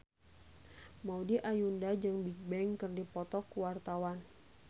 Maudy Ayunda jeung Bigbang keur dipoto ku wartawan